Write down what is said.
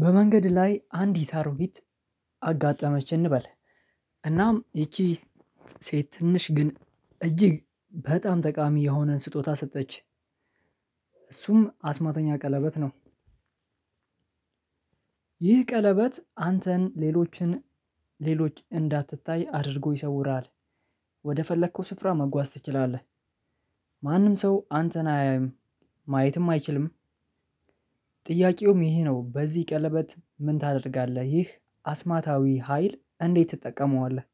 በመንገድ ላይ አንዲት አሮጊት አጋጠመች እንበል እናም ይቺ ሴት ትንሽ ግን እጅግ በጣም ጠቃሚ የሆነ ስጦታ ሰጠች እሱም አስማተኛ ቀለበት ነው። ይህ ቀለበት አንተን ሌሎችን ሌሎች እንዳትታይ አድርጎ ይሰውራል። ወደ ፈለከው ስፍራ መጓዝ ትችላለህ። ማንም ሰው አንተን አያይም ማየትም አይችልም። ጥያቄውም ይሄ ነው በዚህ ቀለበት ምን ታደርጋለህ? ይህ አስማታዊ ሀይል እንዴት ትጠቀመዋለህ?